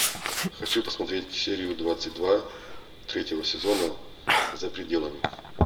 хочу посмотреть серию двадцать два третьего сезона за пределами